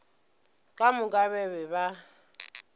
ka moka ba be ba